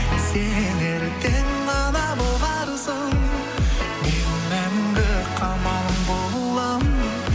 сен ертең ана боларсың мен мәңгі қамалың боламын